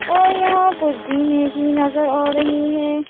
और यहां कुछ जीने भी नजर आ रही है।